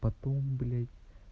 потом блядь